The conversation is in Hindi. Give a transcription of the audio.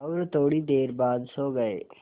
और थोड़ी देर बाद सो गए